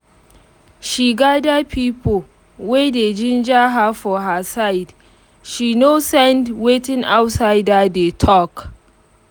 she gada pipo wey dey ginger her for her side she nor send wetin outsider dey talk